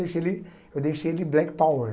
Deixei ele eu deixei ele black power.